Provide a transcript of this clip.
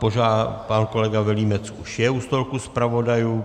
Pan kolega Vilímec už je u stolku zpravodajů.